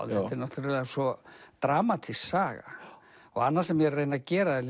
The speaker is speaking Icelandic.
já þetta er náttúrulega svo dramatísk saga annað sem ég er að reyna að gera er